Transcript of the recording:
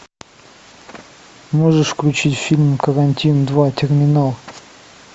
можешь включить фильм карантин два терминал